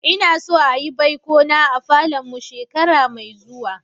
Na so a'yi baiko na a falon mu shekara mai zuwa.